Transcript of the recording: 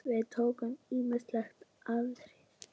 Við tókum ýmis atriði.